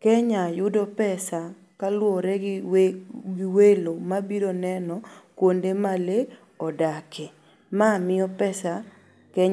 Kenya yudo pesa kaluore gi welo mabiro neno kuonde ma lee odake. Ma miyo pesa Keny